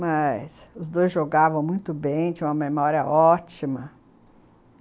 Mas os dois jogavam muito bem, tinham uma memória ótima.